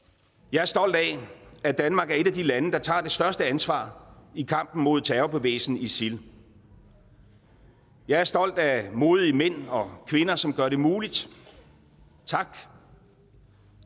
jeg er stolt af at danmark er et af de lande der tager det største ansvar i kampen mod terrorbevægelsen isil jeg er stolt af modige mænd og kvinder som gør det muligt tak